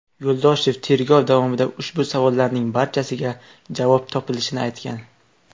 Yo‘ldoshev tergov davomida ushbu savollarning barchasiga javob topilishini aytgan.